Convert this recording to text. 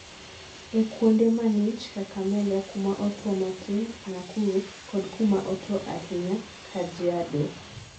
e kuonde mang'ich(kakamega),kuma otwo matin(nakuru) kod kuma otwo ahinya(kajiado)